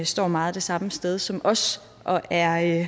står meget det samme sted som os og er